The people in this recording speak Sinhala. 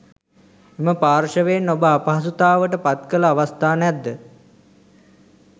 එම පාර්ශ්වයෙන් ඔබ අපහසුතාවට පත්කළ අවස්ථා නැද්ද?